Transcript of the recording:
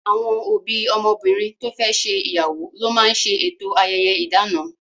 Àwọn òbí ọmọbìnrin to fẹ́ ṣe ìyàwó ló máa ń ṣe eto ayẹyẹ idana